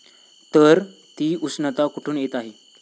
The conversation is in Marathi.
तर, ती उष्णता कुठून येत आहे?